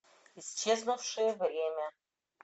исчезнувшее время